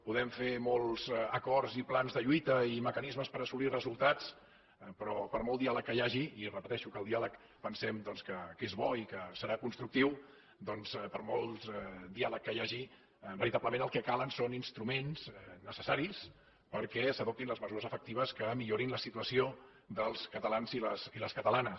podem fer molts acords i plans de lluita i mecanismes per assolir resultats però per molt diàleg que hi hagi i repeteixo que el diàleg pensem doncs que és bo i que serà constructiu veritablement el que calen són instruments necessaris perquè s’adoptin les mesures efectives que millorin la situació dels catalans i les catalanes